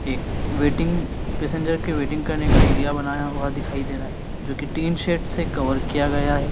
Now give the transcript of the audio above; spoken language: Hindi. एक वेटिंग पैसेंजर की वेटिंग करने का एरिया बनाया हुआ दिखाई दे रहा है जो की टिन शेड से कवर किया गया है।